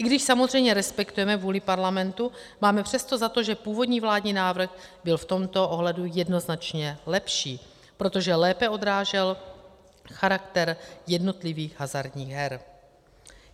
I když samozřejmě respektujeme vůli parlamentu, máme přesto za to, že původní vládní návrh byl v tomto ohledu jednoznačně lepší, protože lépe odrážel charakter jednotlivých hazardních her.